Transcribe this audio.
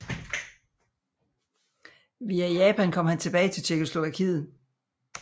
Via Japan kom han tilbage til Tjekkoslovakiet